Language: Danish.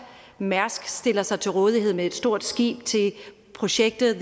mærsk stiller sig til rådighed med et stort skib til projektet the